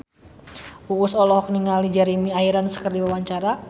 Uus olohok ningali Jeremy Irons keur diwawancara